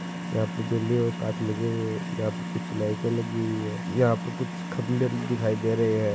यहाँ पर बिल्डिंग और काच लगे हुये है यहाँ पर कुछ लाईट लगे हुई है यहाँ पर कुछ खंभे दिखाय दे रहे है।